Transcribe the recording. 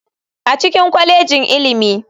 A cikin kwalejin ilimi.